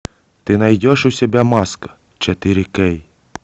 ты найдешь у себя маска четыре кей